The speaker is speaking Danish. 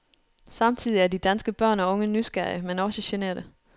Samtidig er de danske børn og unge nysgerrige, men også generte.